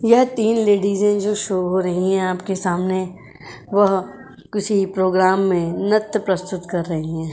यह तीन लेडिस जो शो हो रही हैं आपके सामने वह किसी प्रोग्राम मे नृत्य प्रस्तुत कर रही हैं।